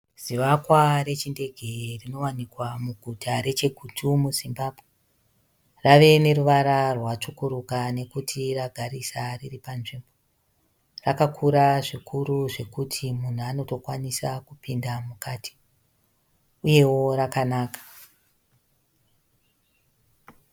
Zivakwa rechindege rinowanikwa muguta reChegutu muZimbabwe. Rave neruvara rwatsvukuruka nekuti ragarisa riri panzvimbo. Rakaura zvikuru zvekuti munhu anotokwanisa kupinda mukati, uyewo rakanaka.